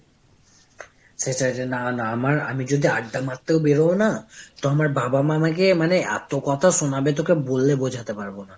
সেটাই রে। না না, আমার আমি যদি আড্ডা মারতে ও বেরোও না, তো আমার বাবা মা আমাকে মানে এত কথা শোনাবে যে তোকে বলে বোঝাতে পারবো না।